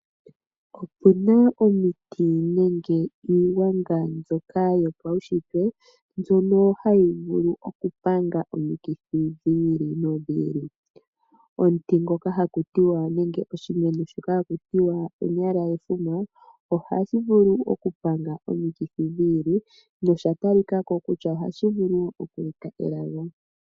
Opena omiti nenge iigwanga mbyoka yopaushitwe mbyono hayi vulu okupanga omikithi dhi ili nodhi ili. Omuti ngoka haku tiwa nenge oshimeno shoka haku tiwa onyala yefuma, ohashi vulu okupanga omikithi dhi ili nosha talika ko kutya ohashi vulu oku eta elago.